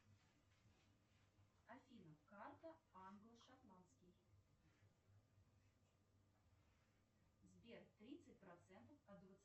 афина карта англо шотландский сбер тридцать процентов от двадцати